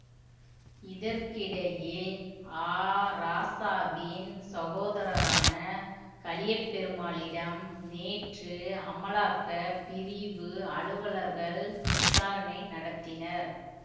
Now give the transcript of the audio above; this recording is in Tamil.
இதற்கிடையில் ஆ ராசாவின் சகோதரரான கலியபெருமாளிடம் நேற்று அமலாக்க பிரிவு அலுவலர்கள் விசாரணை நடத்தினர்